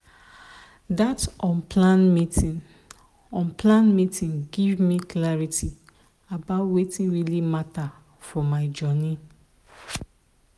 that unplanned meeting unplanned meeting give me clarity about wetin really matter for my journey.